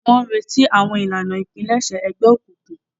Wọn n'ireti awọn ìlànà ipilẹṣẹ Ẹgbẹ òkùnkùn